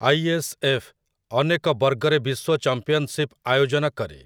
ISF. ଅନେକ ବର୍ଗରେ ବିଶ୍ୱ ଚମ୍ପିଅନ୍‌ସିପ୍ ଆୟୋଜନ କରେ ।